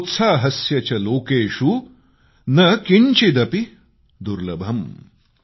सोत्साहस्य च लोकेषु न किंचिदपि दुर्लभम्